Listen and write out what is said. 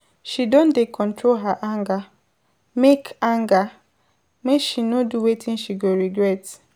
She don dey control her anger, make anger, make she no do wetin she go regret.